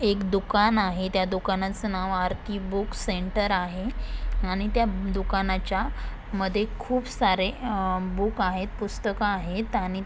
एक दूकान आहे त्या दुकानच नाव आरती बूक सेंटर आहे आणि त्या दुकानाच्या मधे खूप सारे आ बूक आहेत पुस्तक आहेत आणि--